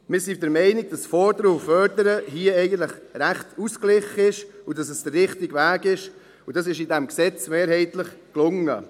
Wir sind der Meinung, dass das Fordern und Fördern hier eigentlich recht ausgeglichen ist und dass es der richtige Weg ist, und das ist in diesem Gesetz mehrheitlich gelungen.